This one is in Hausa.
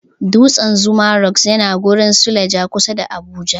Dutsan zuma rock yana garin suleja, kusa da Abuja.